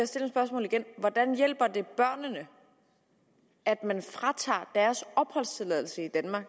stille spørgsmålet igen hvordan hjælper det børnene at man fratager deres opholdstilladelse i danmark